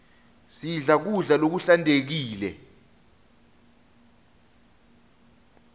sidle kudla lokuhlantekile